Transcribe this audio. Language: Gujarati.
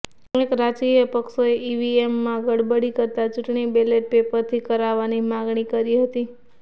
અનેક રાજકીય પક્ષોએ ઈવીએમમાં ગડબડી કરતા ચૂંટણી બેલેટ પેપરથી કરાવવાની માગણી કરી હતી